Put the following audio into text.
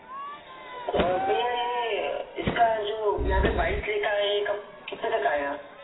पण इसका जो यहापे बाविस लिखा है ये कितने तक आयेगा.